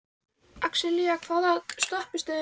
Axelía, hvaða stoppistöð er næst mér?